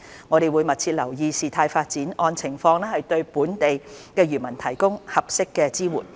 我們會密切留意事態發展，按情況對本地漁民提供合適的支援。